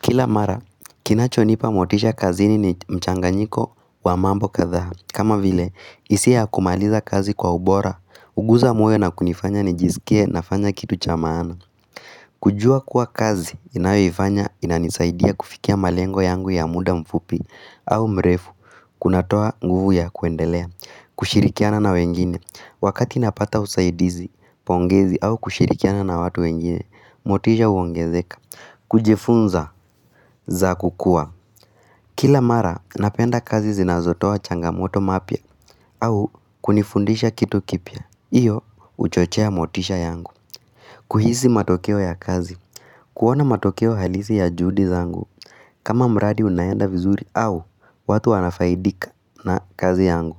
Kila mara, kinachonipa motisha kazini ni mchanganyiko wa mambo kadhaa. Kama vile, hisia ya kumaliza kazi kwa ubora, huguza moyo na kunifanya nijisikie nafanya kitu cha maana. Kujua kuwa kazi ninayoifanya inanisaidia kufikia malengo yangu ya muda mfupi au mrefu, kunatoa nguvu ya kuendelea, kushirikiana na wengine. Wakati napata usaidizi, pongezi au kushirikiana na watu wengine, motisha huongezeka. Kujifunza za kukua Kila mara napenda kazi zinazotoa changamoto mapya au kunifundisha kitu kipya Iyo huchochea motisha yangu kuhisi matokeo ya kazi kuona matokeo halisi ya juhudi zangu kama mradi unaenda vizuri au watu wanafaidika na kazi yangu